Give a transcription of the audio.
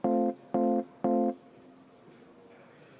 Eelnõu on otsusena vastu võetud.